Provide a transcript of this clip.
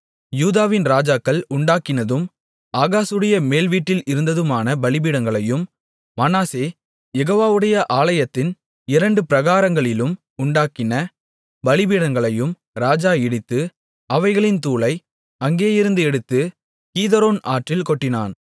யூதாவின் ராஜாக்கள் உண்டாக்கினதும் ஆகாசுடைய மேல்வீட்டில் இருந்ததுமான பலிபீடங்களையும் மனாசே யெகோவாவுடைய ஆலயத்தின் இரண்டு பிராகாரங்களிலும் உண்டாக்கின பலிபீடங்களையும் ராஜா இடித்து அவைகளின் தூளை அங்கேயிருந்து எடுத்துக் கீதரோன் ஆற்றில் கொட்டினான்